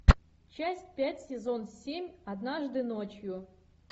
часть пять сезон семь однажды ночью